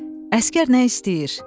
Əsgər nə istəyir?